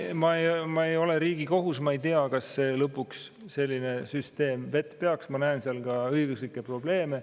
Ma ei ole Riigikohus, ma ei tea, kas lõpuks selline süsteem vett peaks, ma näen seal ka õiguslikke probleeme.